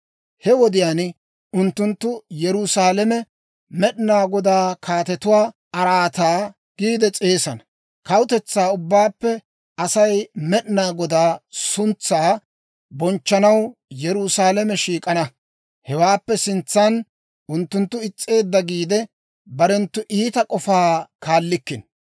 He wodiyaan unttunttu Yerusaalame Med'inaa Godaa Kaatetuwaa Araataa giide s'eesana. Kawutetsaa ubbaappe asay Med'inaa Godaa suntsaa bonchchanaw Yerusaalame shiik'ana. Hewaappe sintsan unttunttu is's'eedda giide, barenttu iita k'ofaa kaallikkino.